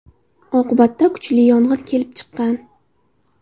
Oqibatda kuchli yong‘in kelib chiqqan.